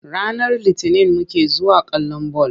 Ranar Litinin muke zuwa kallon ball.